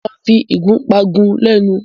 Mo máa fi ìgúpá gún ẹ lẹ́nu.